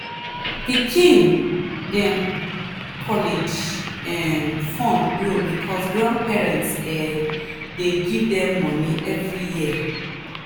pikin dem college um fund grow because grandparents um dey give them moni every year.